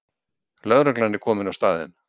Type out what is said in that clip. Lögreglan er komin á staðinn